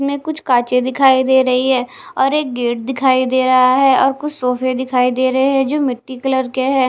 में कुछ काचे दिखाई दे रही है और एक गेट दिखाई दे रहा है और कुछ सोफे दिखाई दे रहे हैं जो मिट्टी कलर के हैं।